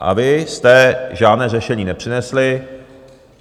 A vy jste žádné řešení nepřinesli.